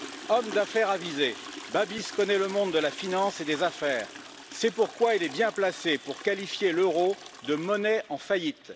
Homme d'affaires avisé, M. Babiš connaît le monde de la finance et des affaires, c'est pourquoi il est bien placé pour qualifier l'euro de monnaie en faillite.